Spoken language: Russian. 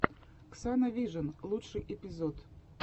ксана вижн лучший эпизод